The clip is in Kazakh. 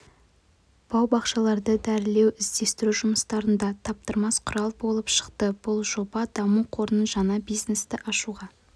бау-бақшаларды дәрілеу іздестіру жұмыстарында таптырмас құрал юолып шықты бұл жоба даму қорының жаңа бизнесті ашуға